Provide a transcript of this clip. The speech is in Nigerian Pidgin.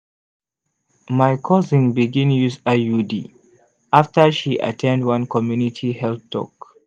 my cousin begin use iud after she at ten d one community health talk.